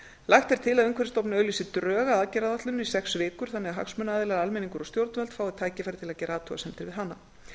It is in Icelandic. lagt er til að umhverfisstofnun auglýsi drög að aðgerðaáætluninni í sex vikur þannig að hagsmunaaðilar eða almenningur og stjórnvöld fái tækifæri til að gera athugasemdir við hana